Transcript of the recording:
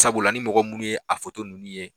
Sabula ni mɔgɔ minnu ye a foto ninnu ye